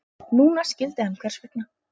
Núna skildi hann hvers vegna.